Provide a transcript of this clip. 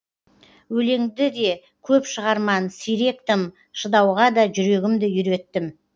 өлеңді де көп шығарман сирек тым шыдауға да жүрегімді үйреттім